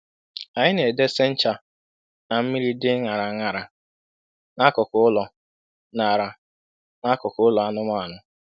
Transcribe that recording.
Anyị na-edese ncha na mmiri dị ṅara ṅara n'akụkụ ụlọ ṅara n'akụkụ ụlọ anụmanụ.